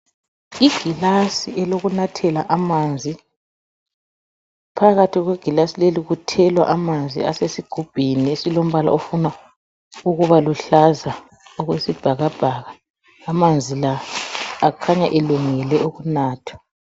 Igilasi elokunathela amanzi phakathi kwegilasi leli kuthelwa amanzi asesigubhini esilombala ofuna ukuba luhlaza okwesibhakabhaka amanzi la akhanya elungele ukunatha.